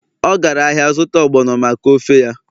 ọ gara ahịa zụta ogbono maka ofe ya